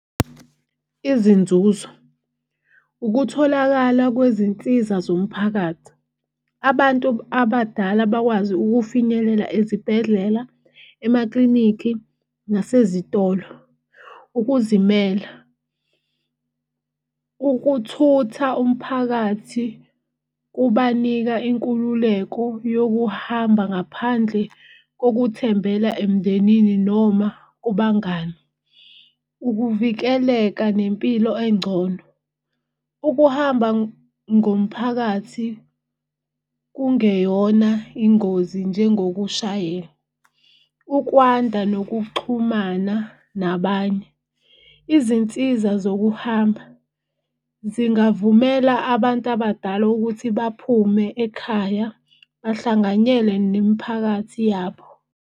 Izinzuzo ukutholakala kwezinsiza zomphakathi. Abantu abadala bakwazi ukufinyelela ezibhedlela, emaklinikhi nasezitolo. Ukuzimela, ukuthutha umphakathi kubanika inkululeko yokuhamba ngaphandle kokuthembela emndenini noma kubangani. Ukuvikeleka nempilo engcono, ukuhamba ngomphakathi kungeyona ingozi njengokushayela, ukwanda nokuxhumana nabanye. Izinsiza zokuhamba zingavumela abantu abadala ukuthi baphume ekhaya bahlanganyele nemiphakathi yabo.